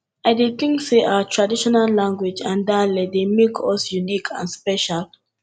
i dey think say our traditional language and dialect dey make us unique and special